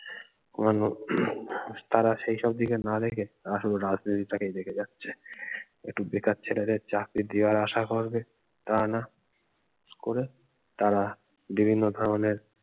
হম তারা সেই সব দিকে না দেখে আসলে রাজনীতি টাকেই দেখে যাচ্ছে একটু বেকার ছেলেদের চাকরি দেওয়ার আশা করবে তা না করে তারা বিভিন্ন ধরণের